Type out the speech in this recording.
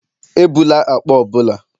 Ebula akpa ọ bụla.